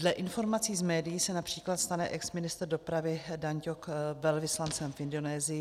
Dle informací z médií se například stane exministr dopravy Dan Ťok velvyslancem v Indonésii.